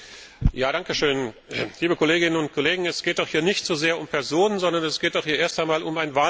Frau Präsidentin, liebe Kolleginnen und Kollegen! Es geht doch hier nicht so sehr um Personen, sondern es geht hier erst einmal um ein Wahlverfahren.